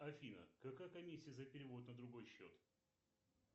афина какая комиссия за перевод на другой счет